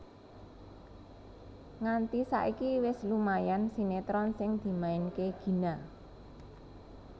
Nganti saiki wis lumayan sinetron sing dimainke Gina